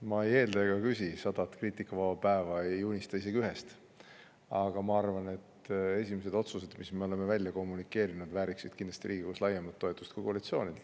Ma ei eelda ega küsi sadat kriitikavaba päeva, ei unista isegi ühest, aga arvan, et esimesed otsused, mille me oleme välja, vääriksid Riigikogus kindlasti laiemat toetust kui ainult koalitsioonilt.